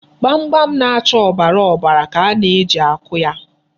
Gbamgbam na-acha ọbara ọbara ka a na-eji akụ ya.